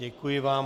Děkuji vám.